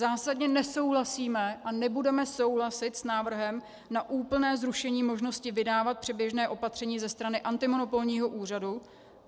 Zásadně nesouhlasíme a nebudeme souhlasit s návrhem na úplné zrušení možnosti vydávat předběžné opatření ze strany antimonopolního úřadu.